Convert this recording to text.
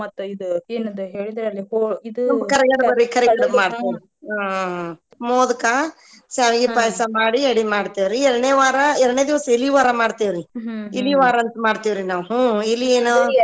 ಕರಿಗಡಬ ಮಾಡತೇವ್ರಿ ಹ್ಮ್‌ ಮೋದಕಾ ಶಾವಿಗಿ ಪಾಯಸಾ ಮಾಡಿ ಎಡಿ ಮಾಡತೇವ್ರಿ ಎರಡನೆ ವಾರಾ ಎರ್ಡನೆ ದಿವಸ ಇಲಿ ವಾರಾ ಮಾಡ್ತೇವ್ರಿ ಇಲಿ ವಾರಾ ಅಂತ ಮಾಡ್ತೇವ್ರಿ ನಾವ ಇಲಿ ಎನೋ.